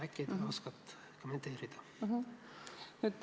Äkki oskate kommenteerida?